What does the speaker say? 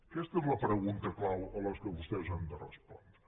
aquesta és la pregunta clau a la qual vostès han de respondre